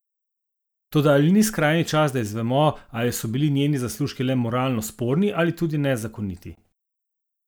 Toda ali ni skrajni čas, da izvemo, ali so bili njeni zaslužki le moralno sporni ali tudi nezakoniti?